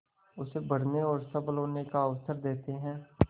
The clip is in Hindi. उसे बढ़ने और सबल होने का अवसर देते हैं